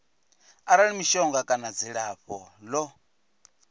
arali mishonga kana dzilafho ḽo